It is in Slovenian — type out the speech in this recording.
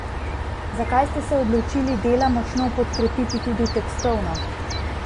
Zakaj ste se odločili dela močno podkrepiti tudi tekstovno?